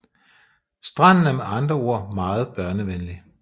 Stranden er med andre ord meget børnevenlig